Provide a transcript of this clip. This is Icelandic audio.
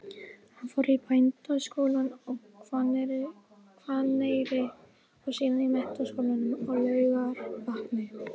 Hann fór í Bændaskólann á Hvanneyri og síðan í Menntaskólann á Laugarvatni.